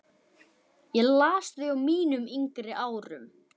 Ég las þau á mínum yngri árum.